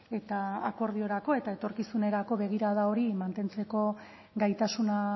eta akordiorako eta etorkizunerako begirada hori mantentzeko gaitasuna